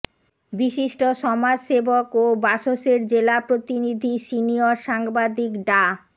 বিশিষ্ট সমাজসেবক ও বাসসের জেলা প্রতিনিধি সিনিয়র সাংবাদিক ডা